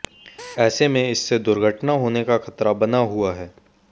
ऐसे में इससे दुर्घटना होने का खतरा बना हुआ है